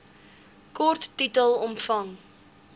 kort titel omvang